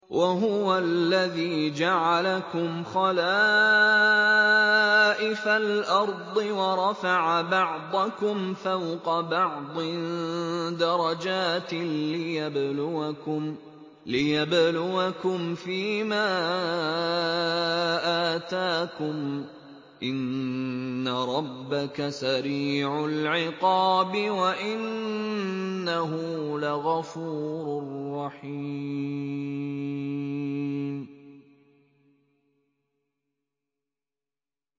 وَهُوَ الَّذِي جَعَلَكُمْ خَلَائِفَ الْأَرْضِ وَرَفَعَ بَعْضَكُمْ فَوْقَ بَعْضٍ دَرَجَاتٍ لِّيَبْلُوَكُمْ فِي مَا آتَاكُمْ ۗ إِنَّ رَبَّكَ سَرِيعُ الْعِقَابِ وَإِنَّهُ لَغَفُورٌ رَّحِيمٌ